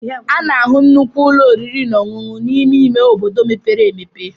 A na-ahụ nnukwu ụlọ oriri na ọṅụṅụ n'ime ime obodo mepere emepe.